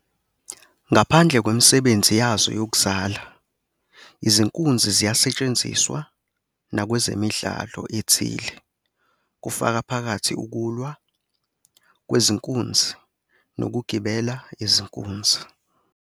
Ngaphandle kwemisebenzi yazo yokuzala, izinkunzi ziyasetshenziswa nakwezemidlalo ethile, kufaka phakathi ukulwa kwezinkunzi nokugibela izinkunzi.